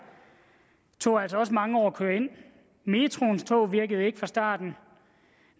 tog det altså også mange år at køre ind metroens tog virkede ikke fra starten